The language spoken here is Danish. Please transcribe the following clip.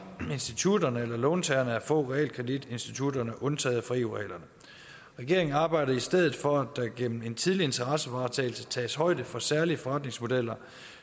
institutterne eller låntagerne at få realkreditinstitutterne undtaget fra eu reglerne regeringen arbejder i stedet for at der gennem en tidlig interessevaretagelse tages højde for særlige forretningsmodeller